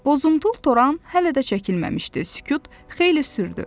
Bozuntul toran hələ də çəkilməmişdi, sükut xeyli sürdü.